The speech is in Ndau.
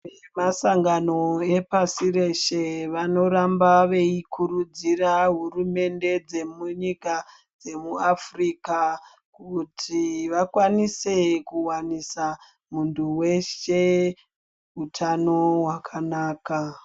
Vemasangano epashi reshe vanoramba veikurudzira hurumende dzemunyika dzemuAfurika, kuti vakwanise kuvanisa muntu weshe hutano hwakanaka.